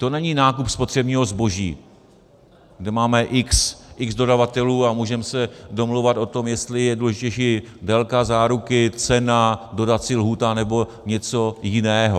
To není nákup spotřebního zboží, kde máme x dodavatelů a můžeme se domlouvat o tom, jestli je důležitější délka záruky, cena, dodací lhůta nebo něco jiného.